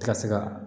Ti ka se ka